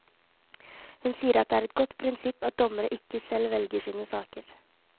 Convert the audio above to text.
Hun sier at det er et godt prinsipp at dommere ikke selv velger sine saker.